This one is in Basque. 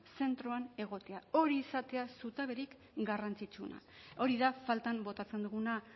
zentroan egotea hori izatea zutaberik garrantzitsuena hori da faltan botatzen duguna